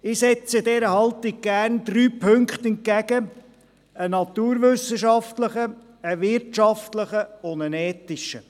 Ich setze dieser Haltung gerne drei Punkte entgegen – einen naturwissenschaftlichen, eine wirtschaftlichen und einen ethischen.